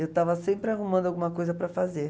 Eu estava sempre arrumando alguma coisa para fazer.